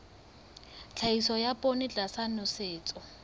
tlhahiso ya poone tlasa nosetso